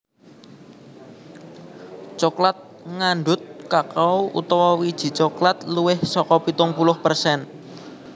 Coklat ngandhut kakao utawa wiji coklat luwih saka pitung puluh persen